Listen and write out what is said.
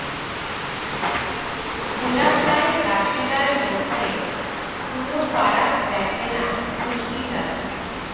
খোলাফায়ে রাশেদার মধ্যে কোনো ফারাক দেখে না তুর্কি জাতি